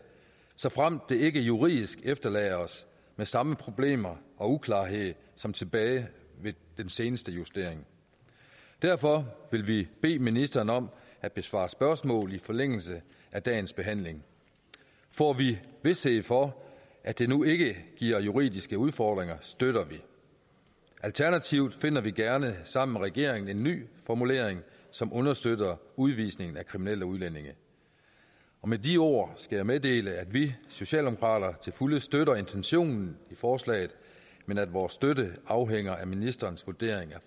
såfremt det ikke juridisk efterlader os med samme problemer og uklarhed som tilbage ved den seneste justering derfor vil vi bede ministeren om at besvare spørgsmål i forlængelse af dagens behandling får vi vished for at det nu ikke giver juridiske udfordringer støtter vi alternativt finder vi gerne sammen med regeringen en ny formulering som understøtter udvisningen af kriminelle udlændinge med de ord skal jeg meddele at vi socialdemokrater til fulde støtter intentionen i forslaget men at vores støtte afhænger af ministerens vurdering